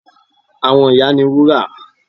Àwọn ìyá ni Wúrà